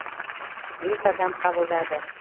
бес адам қабылдады